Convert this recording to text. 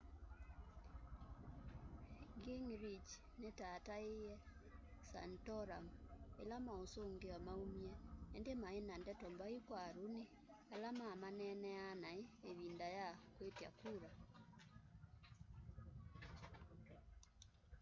gingrich nitataiie santorum ila mausungio maumie indi maina ndeto mbai kwa romney ala mamaneneaa nai ivinda ya kwitya kula